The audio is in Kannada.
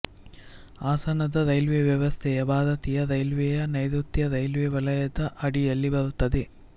ಹಾಸನದ ರೈಲ್ವೆ ವ್ಯವಸ್ಥೆಯು ಭಾರತೀಯ ರೈಲ್ವೆಯ ನೈರುತ್ಯ ರೈಲ್ವೆ ವಲಯದ ಅಡಿಯಲ್ಲಿ ಬರುತ್ತದೆ